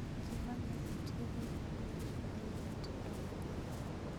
Jii mang'eny tiyoga gi mbui e yudo tedo manyien